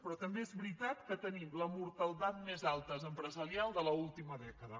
però també és veritat que tenim la mortaldat més alta empresarial de l’última dècada